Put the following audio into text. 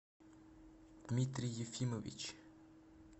дмитрий ефимович